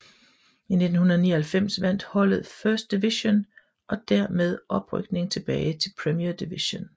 I 1999 vandt holdet First Division og dermed oprykning tilbage til Premier Division